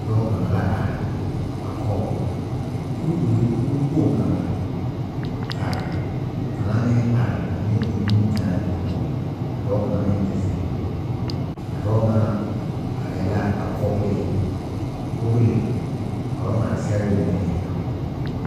Dɔɔ kaŋa la are a kɔge kuriwiri bonkpoŋ kaŋa ka kaŋa meŋ are a meŋ eŋ nimikyããne a kɔge o ka dɔɔ kaŋa meŋ te zeŋ a dɔɔ ŋa arɛɛ la a vɔgle kpogli ka ba ŋmaa sɛgre mine eŋ a o poɔ.